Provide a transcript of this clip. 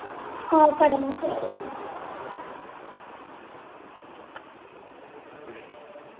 ആഹ് okay ഡാ എന്ന ശെരി